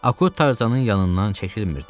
Akut Tarzanın yanından çəkilmirdi.